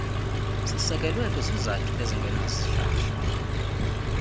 sisekelwe kwizizathu ezingenasihlahla